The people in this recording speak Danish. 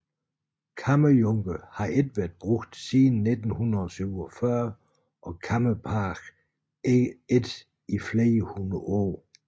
Kammerjunker har ikke været brugt siden 1947 og kammerpage ikke i flere hundrede år